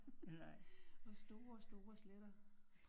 Og store store sletter